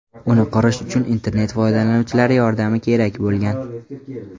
Uni qurish uchun internet foydalanuvchilari yordami kerak bo‘lgan.